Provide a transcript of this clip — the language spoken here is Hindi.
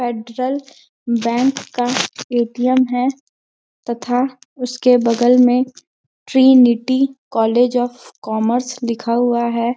फेडरल बैंक का ए_टी_एम है तथा उसके बगल में ट्रिनिटी कॉलेज ऑफ कॉमर्स लिखा हुआ है।